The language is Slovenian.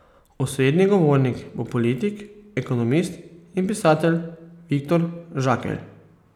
Osrednji govornik bo politik, ekonomist in pisatelj Viktor Žakelj.